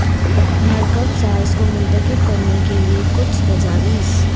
مرکب ساز کو منتخب کرنے کے لئے کچھ تجاویز